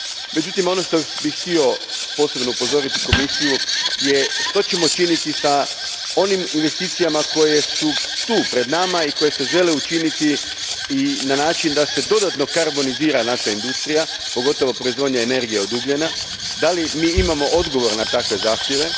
Međutim, ono na što bih htio posebno upozoriti Komisiju, što ćemo činiti s onim investicijama koje su tu, pred nama i koje se žele učiniti tako da se dodatno karbonizira naša industrija, pogotovo proizvodnja energije od ugljena imamo li odgovor na takve zahtjeve?